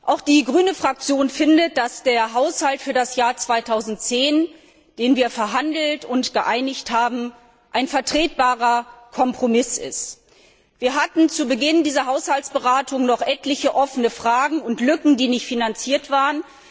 Auch die Fraktion der Grünen findet, dass der Haushalt für das Jahr 2010, den wir verhandelt und vereinbart haben, ein vertretbarer Kompromiss ist. Wir hatten zu Beginn dieser Haushaltsberatung noch etliche offene Fragen und Lücken, die nicht finanziert waren.